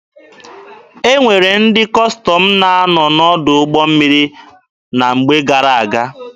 E nwere ndị Kọstọm na-anọ n'ọdụ ụgbọ mmiri na mgbe gara-aga.